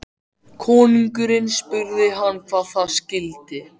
Konungurinn spurði hann hvað það skyldi.